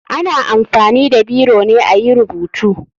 Ana amfani da biro ne ayi rubutu.